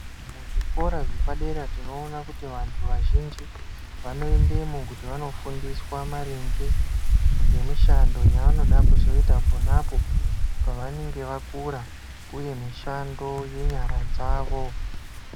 Muzvikora zvepadera tinoona kuti vantu vazhinji vanoendemo kuti vanofundiswa maringe ngemishando yavanoda kuzoita ponapo pavenge vakura uye mishando yenyara dzavo.